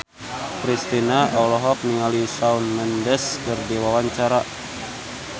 Kristina olohok ningali Shawn Mendes keur diwawancara